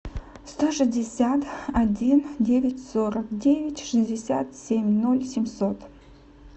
сто шестьдесят один девять сорок девять шестьдесят семь ноль семьсот